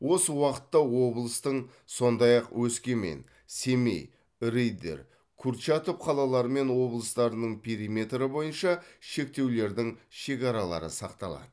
осы уақытта облыстың сондай ақ өскемен семей риддер курчатов қалалары мен облыстарының периметрі бойынша шектеулердің шекаралары сақталады